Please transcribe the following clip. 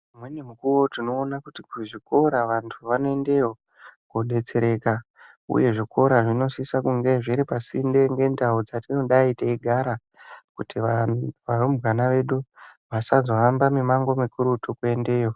Umweni mukuwo tinoona kuti kuzvikora vantu vanoendeyo vodetsereka uye zvikora zvinosisa kunge zviripa Sinde ngendau dzatinodai teigara kuti varumbwana vedu vasazohamba mimango kakurutu kuendeyo.